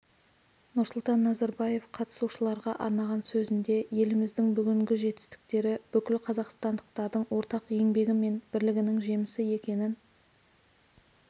нұрсұлтан назарбаев қатысушыларға арнаған сөзінде еліміздің бүгінгі жетістіктері бүкіл қазақстандықтардың ортақ еңбегі мен бірлігінің жемісі екенін